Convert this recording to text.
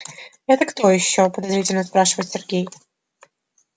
это кто ещё подозрительно спрашивает сергей